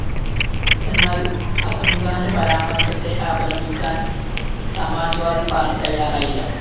എന്നാല്‍ അസംഖാന്റെ പരാമര്‍ശത്തെ അപലപിക്കാന്‍ സമാജ്‌വാദി പാര്‍ട്ടി തയ്യാറായില്ല